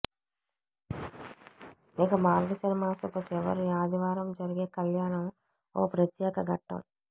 ఇక మార్గశిర మాసపు చివరి ఆదివారం జరిగే కల్యాణం ఓ ప్రత్యేక ఘట్టం